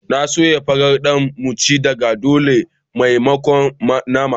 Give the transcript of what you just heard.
N'na soyan farar Dan mu ci da dare a maimakon nama